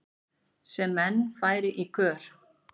sem menn færi í kör